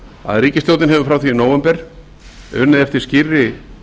að ríkisstjórnin hefur frá því í nóvember unnið eftir skýrri